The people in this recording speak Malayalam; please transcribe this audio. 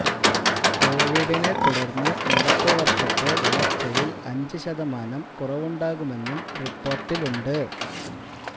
കോവിഡിനെ തുടര്ന്നു നടപ്പു വര്ഷത്തെ വളര്ച്ചയില് അഞ്ചു ശതമാനം കുറവുണ്ടാകുമെന്നും റിപ്പോര്ട്ടിലുണ്ട്